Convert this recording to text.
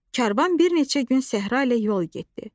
Karvan bir neçə gün səhra ilə yol getdi.